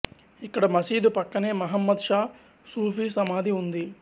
ఇక్కడ మసీదు పక్కనే మహమ్మద్ షా సూఫీ సమాధి ఉంది